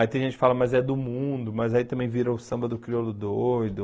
Aí tem gente que fala, mas é do mundo, mas aí também vira o samba do crioulo doido.